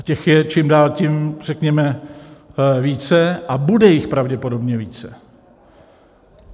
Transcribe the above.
A těch je čím dál tím řekněme více a bude jich pravděpodobně více.